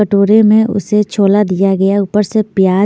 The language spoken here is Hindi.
कटोरे में उसे छोला दिया गया ऊपर से प्याज --